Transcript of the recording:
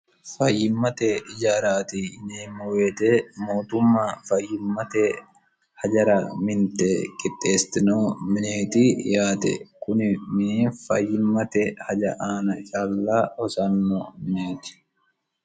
fayyimmate ijaaraati yineemmo weete mootumma fayyimmate hajara minte qixxeestino mineeti yaate kuni mini fayyimmate haja aana calla hosanno mineeti